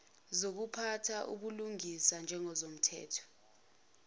zokuphatha ubulungisa njengomthetho